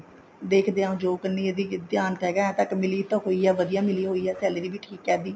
ਦੇਖਦੇ ਹਾਂ job ਕਨੀ ਇਹਦਾ ਧਿਆਨ ਹੈਗਾ ਤਾਂ but ਮਿਲੀ ਤਾਂ ਹੋਈ ਆ ਵਧੀਆ ਮਿਲੀ ਹੋਈ ਆ salary ਵੀ ਠੀਕ ਆ ਇਹਦੀ